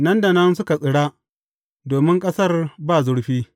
Nan da nan, suka tsira domin ƙasar ba zurfi.